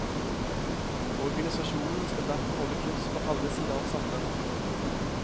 Organisasjonen skal derfor holde kurs for alle sine ansatte.